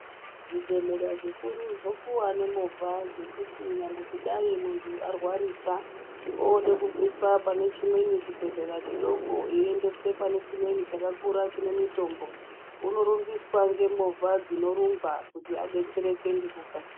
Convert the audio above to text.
Zvibhehlera zvikuru zvopuwa nemovha dzekuti nyangwe kudai muntu arwarisa oode kubviswa pane chimweni chibhehlera chidoko eiendeswe pane chimweni chakakura chine mitombo, unorumbiswa ngemovha dzinorumba kuti adetsereke ngekukasira.